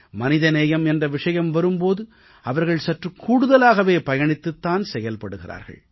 மனித நேயம் என்ற விஷயம் வரும் போது அவர்கள் சற்றுக் கூடுதலாகவே பயணித்துத் தான் செயல்பட்டு வருகிறார்கள்